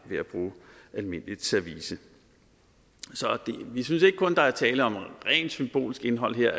ved at bruge almindeligt service vi synes ikke at der kun er tale om rent symbolsk indhold her